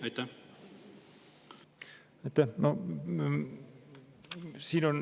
Aitäh!